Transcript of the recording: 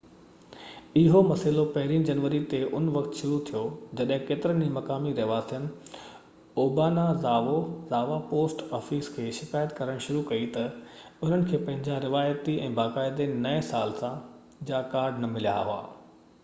اهو مسئلو پهرين جنوري تي ان وقت شروع ٿيو جڏهن ڪيترن ئي مقامي رهواسين اوبانازاوا پوسٽ آفيس کي شڪايت ڪرڻ شروع ڪئي تہ انهن کي پنهنجا روايتي ۽ باقاعدي نئي سال جا ڪارڊ نہ مليا هئا